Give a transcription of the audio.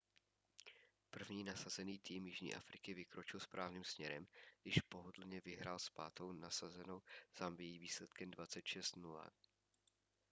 první nasazený tým jižní afriky vykročil správným směrem když pohodlně vyhrál s pátou nasazenou zambií výsledkem 26-00